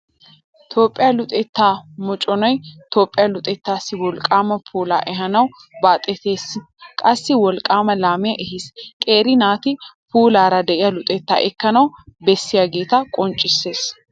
Toophphiyaa luxetta moconay Toophphiyaa luxettaassi wolqqaama puulaa ehaanawu baaxetiisine qassi wolqqaama laamiyaa ehiis. Qeeri naati puulaara diyaa luxettaa ekkanawu bessiyaagaatto qonccissiis.